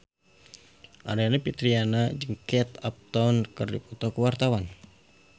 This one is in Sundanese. Aryani Fitriana jeung Kate Upton keur dipoto ku wartawan